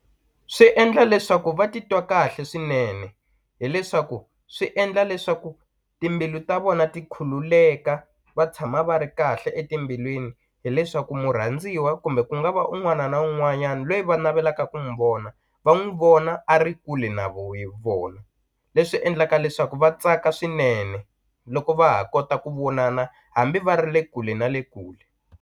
Swi endla leswaku va titwa kahle swinene hileswaku swi endla leswaku timbilu ta vona ti khululeka va tshama va ri kahle etimbilwini hileswaku murhandziwa kumbe ku nga va un'wana na un'wanyani lweyi va navelaka ku n'wu vona va n'wu vona a ri kule na vona leswi endlaka leswaku va tsaka swinene loko va ha kota ku vonana hambi va ri le kule na le kule.